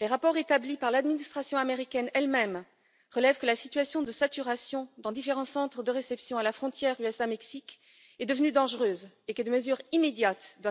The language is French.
Les rapports établis par l'administration américaine elle même relèvent que la situation de saturation dans différents centres de réception à la frontière USA Mexique est devenue dangereuse et que des mesures immédiates doivent être prises.